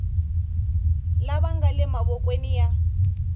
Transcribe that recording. laya nga le mavokweni ya